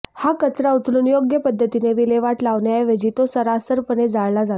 हा कचरा उचलून योग्य पद्धतीने विल्हेवाट लावण्याऐवजी तो सर्रासपणे जाळला जातो